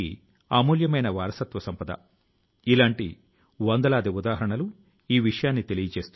ఈ ప్రచారాలో కొన్ని ఆసక్తికరమైన విషయాలు బయటపడ్డాయి